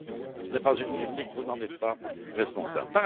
Ce n'est pas une critique, vous n'en êtes pas responsable.